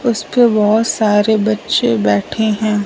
उस पे बहुत सारे बच्चे बैठे हैं।